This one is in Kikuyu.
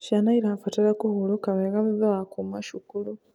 Ciana irabatara kũhũrũka wega thutha wa kuuma cukuru